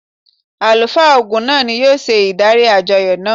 Àlùfáà Ògún náà ni yóò ṣe ìdarí àjọyọ̀ náà.